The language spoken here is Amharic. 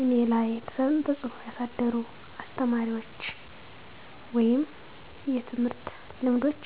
እኔ ላይ ተፅእኖ ያሳደሩ አስተማሪዎች ወይም የትምህርት ልምዶች